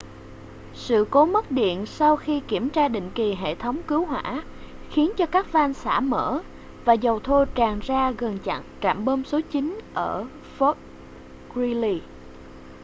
sự cố mất điện sau khi kiểm tra định kỳ hệ thống cứu hỏa khiến cho các van xả mở và dầu thô tràn ra gần trạm bơm số 9 ở fort greely